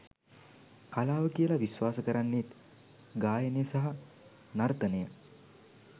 කලාව කියලා විශ්වාස කරන්නෙත් ගායනය සහ නර්තනය